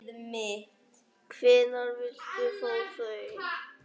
Hvenær viltu fá þau?